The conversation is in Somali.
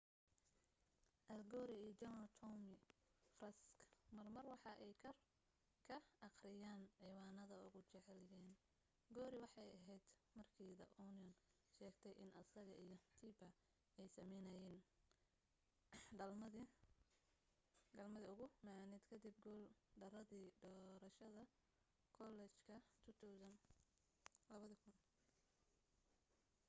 al gore iyo general tommy franks mar mar waxa ay kor ka aqrinayaan ciwanade ugu jeclaayen gore waxee aheyd markii the onion sheegtay in asaga iyo tipper ay sameynayeen galmadii ugu macaaned kadib guul daradii doorashadii kollejka 2000